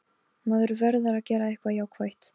Falgeir, hringdu í Búa eftir níutíu mínútur.